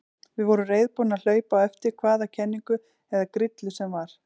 Við vorum reiðubúnir að hlaupa á eftir hvaða kenningu eða grillu sem var.